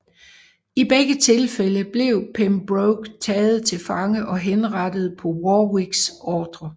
I begge tilfælde blev Pembroke taget til fange og henrettet på Warwicks ordre